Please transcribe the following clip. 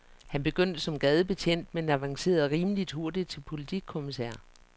Han begyndte som gadebetjent, men avancerede rimeligt hurtigt til politikommisær.